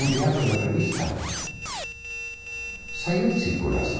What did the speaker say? O teatro de revista saiu de circulação.